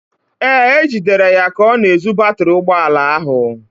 Ee, e jidere ya ka ọ na-ezu batịrị ụgbọala ahụ.